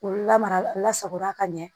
K'u lamara la sago la ka ɲɛ